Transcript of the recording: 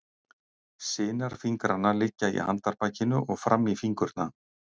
Sinar fingranna liggja í handarbakinu og fram í fingurna.